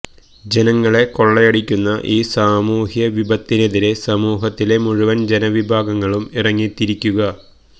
ജനങ്ങളെ കൊള്ളയടിക്കുന്ന ഈ സാമൂഹ്യ വിപത്തിനെതിരെ സമൂഹത്തിലെ മുഴുവന് ജനവിഭാഗങ്ങളും ഇറങ്ങിത്തിരിക്കുക